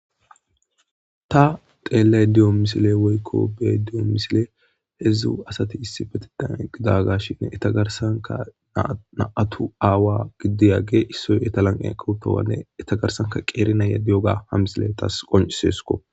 ta xeellay diyo misile woykko bee diyo misile hedzdzu asati issi fetidan gidagashin etagarsanka naatu aawa giddiyage issoy etalanqe kawutowanne etagarsanka qeeri nayadi yoga ha misile tas qonciseesuko